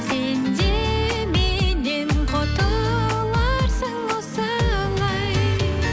сен де меннен құтыларсың осылай